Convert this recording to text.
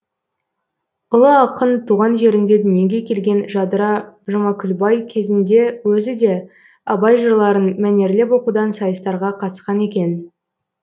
ұлы ақын туған жерінде дүниеге келген жадыра жұмакүлбай кезінде өзі де абай жырларын мәнерлеп оқудан сайыстарға қатысқан екен